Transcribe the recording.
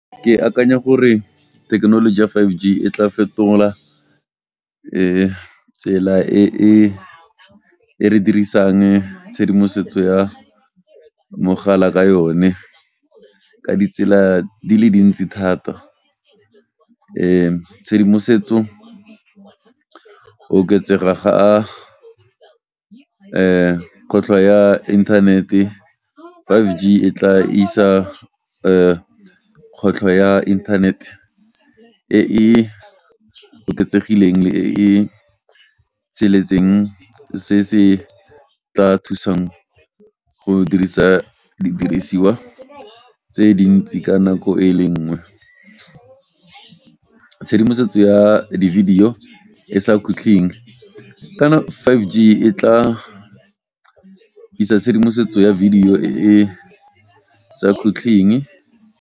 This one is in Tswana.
Ke akanya gore thekenoloji ya five G e tla fetola tsela e e, e re dirisang tshedimosetso ya mogala ka yone ka ditsela di le dintsi thata. Tshedimosetso oketsega ga kotlo ya internet five G e tla isa kgwetlho ya internet e e oketsegileng le e e tsheletseng se se tla thusang go dirisa didirisiwa tse dintsi ka nako e le nngwe, tshedimosetso ya di-video e sa kgutleng. Ka na five G e tla isa tshedimosetso ya video e e sa kgutleng.